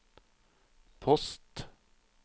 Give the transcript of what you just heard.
post